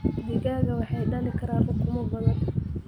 Digaagga waxay dhalin karaan ukumo badan.